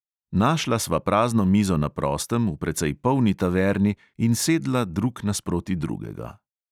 Našla sva prazno mizo na prostem v precej polni taverni in sedla drug nasproti drugega.